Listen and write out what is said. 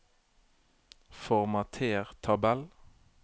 Formater tabell